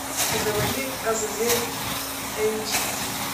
заводи азазель эйч ди